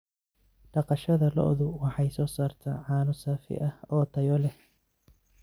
Dhaqashada lo'du waxay soo saartaa caano saafi ah oo tayo leh.